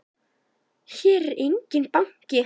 Hér er enginn banki!